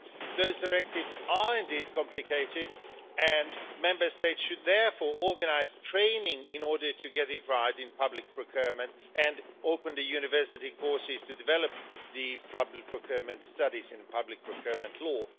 Those directives are indeed complicated and Member States should therefore organise training in order to get it right in public procurement and open university courses to develop public procurement studies and public procurement law.